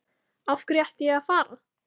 Af hverju ætti ég að fara?